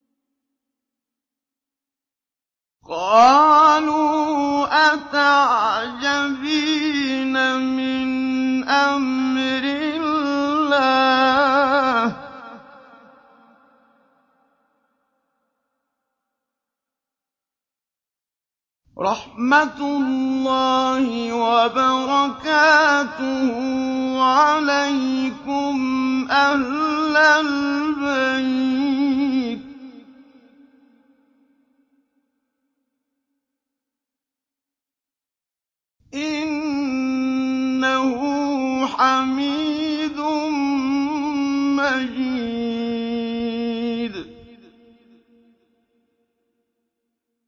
قَالُوا أَتَعْجَبِينَ مِنْ أَمْرِ اللَّهِ ۖ رَحْمَتُ اللَّهِ وَبَرَكَاتُهُ عَلَيْكُمْ أَهْلَ الْبَيْتِ ۚ إِنَّهُ حَمِيدٌ مَّجِيدٌ